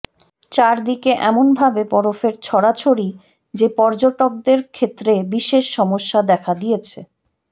চারদিকে এমন ভাবে বরফের ছড়াছড়ি যে পর্যটকদের ক্ষেত্রে বিশেষ সমস্যা দেখা দিয়েছে